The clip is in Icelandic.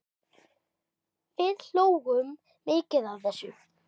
Við hlógum mikið að þessu.